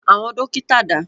Àwọn dọ́kítá dà?